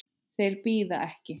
Þeir bíða ekki.